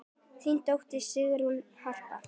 Þín dóttir, Sigrún Harpa.